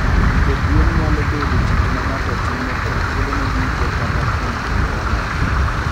Pidho gwen nyalo bedo tich ma ng'ato timo kuom thuolone duto kata kuom kinde manok.